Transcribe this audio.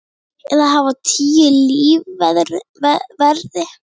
Eða hafa tíu lífverði?